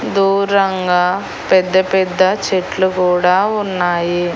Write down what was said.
దూరంగా పెద్ద పెద్ద చెట్లు కూడా ఉన్నాయి.